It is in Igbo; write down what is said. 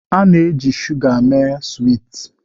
A na-eji shuga mee swiiti